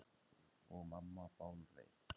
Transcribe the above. Og mamma bálreið.